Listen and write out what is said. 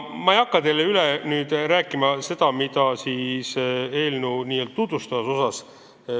Ma ei hakka teile üle rääkima eelnõu tutvustavat osa.